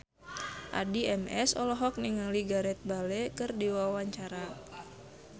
Addie MS olohok ningali Gareth Bale keur diwawancara